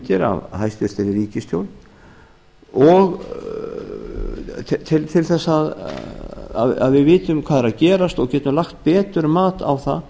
af hæstvirt ríkisstjórn til þess að við vitum hvað er að gerast og getum lagt betur mat á það